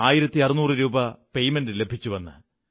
1600 രൂപ ലഭിച്ചുവെന്ന്